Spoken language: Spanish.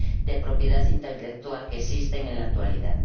de propiedad intelectual que existen en la actualidad.